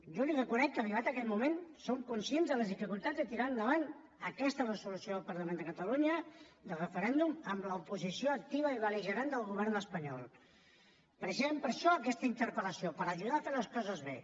jo li reconec que arribat aquest moment som conscients de les dificultats de tirar endavant aquesta resolució del parlament de catalunya del referèndum amb l’oposició activa i bel·ligerant del govern espanyol precisament és per a això aquesta interpel·lació per ajudar a fer les coses bé